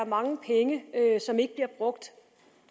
mange penge som ikke bliver brugt